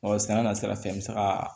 Ɔ sɛnɛ na sira fɛ n bɛ se ka